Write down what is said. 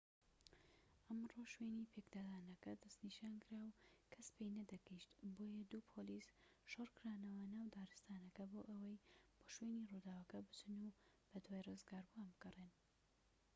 ئەمڕۆ شوێنی پێکدادانەکە دەسنیشانکرا و کەس پێی نەدەگەیشت بۆیە دوو پۆلیس شۆڕکرانەوە ناو دارستانەکە بۆ ئەوەی بۆ شوێنی ڕووداوەکە بچن و بەدوای ڕزگاربووان بگەڕێن